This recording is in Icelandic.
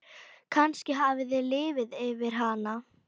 Kannski hafði liðið yfir hana.